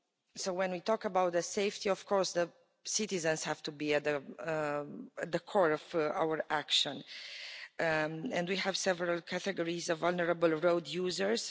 So when we talk about the safety of course the citizens have to be at the core of our action, and we have several categories of vulnerable road users.